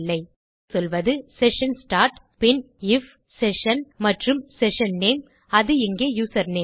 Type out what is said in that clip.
ஆகவே இங்கே சொல்வது செஷன் ஸ்டார்ட் பின் ஐஎஃப் செஷன் மற்றும் செஷன் நேம் அது இங்கே யூசர்நேம்